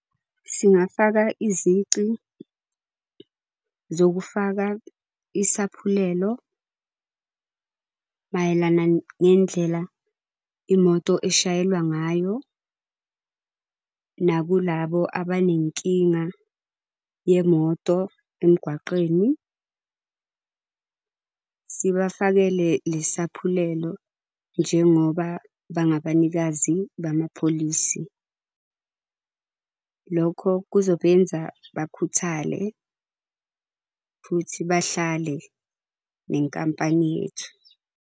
Singafaka izici zokufaka isaphulelo mayelana ngendlela imoto eshayelwa ngayo. Nakulabo abanenkinga yemoto emgwaqeni, sibafakele lesi saphulelo, njengoba bangabanikazi bamapholisi. Lokho kuzobenza bakhuthale futhi bahlale nenkampani yethu.